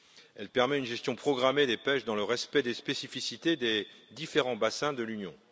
Elle permet une gestion programmée des pêches dans le respect des spécificités des différents bassins de l'Union.